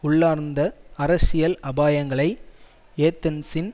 உள்ளார்ந்த அரசியல் அபாயங்களை ஏதன்ஸின்